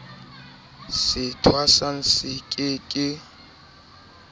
se thwasang se ke ke